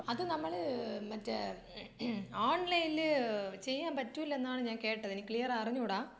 അത് നമ്മൾ മറ്റേ ഓൺലൈനിൽ ചെയ്യാൻ പറ്റൂലന്നാണ് ഞാൻ കേട്ടത് എനിക്ക് ക്ലിയർ അറിഞ്ഞൂടാ.